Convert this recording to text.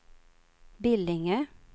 Billinge